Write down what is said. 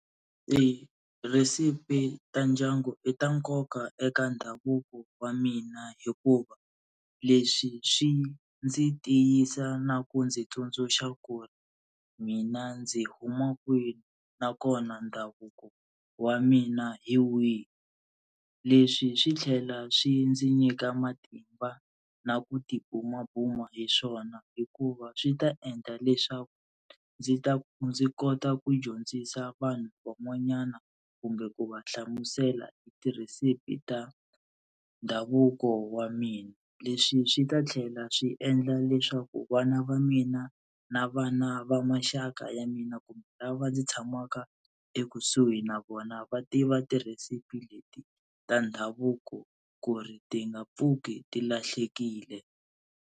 Tirhesipi ta ndyangu i ta nkoka eka ndhavuko wa mina hikuva leswi swi ndzi tiyisa na ku ndzi tsundzuxa ku ri mina ndzi huma kwini nakona ndhavuko wa mina hi wihi, leswi swi tlhela swi ndzi nyika matimba na ku tibumabuma hi swona hikuva swi ta endla leswaku ndzi ta ndzi kota ku dyondzisa vanhu van'wanyana kumbe ku va hlamusela hi tirhesipi ta ndhavuko wa mina. Leswi swi ta tlhela swi endla leswaku vana va mina na vana va maxaka ya mina kumbe lava ndzi tshamaka ekusuhi na vona va tiva tirhesipi leti ta ndhavuko ku ri ti nga pfuki ti lahlekile.